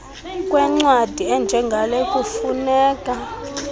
kwencwadi enjengale kufune